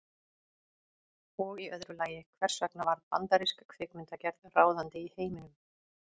Og í öðru lagi, hvers vegna varð bandarísk kvikmyndagerð ráðandi í heiminum?